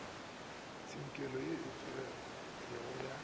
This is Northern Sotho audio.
tsinkelo ye e tseneletpego ya